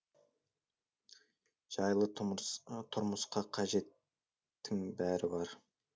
жайлы тұрмысқа қажеттің бәрі бар